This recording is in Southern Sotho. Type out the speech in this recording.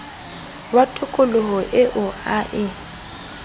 wa tokoloho eo a e